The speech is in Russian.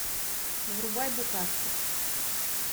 врубай букашки